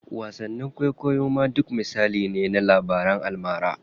Wasanni kwaikwayo ma duk misali ne na labaran almara.